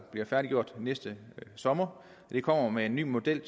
bliver færdiggjort næste sommer er kommet med en ny model